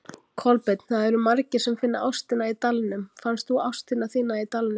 Kolbeinn: Það eru margir sem finna ástina í Dalnum, fannst þú ástina þína í Dalnum?